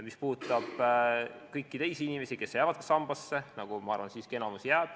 Ma arvan, et enamik jääb siiski teise sambasse koguma.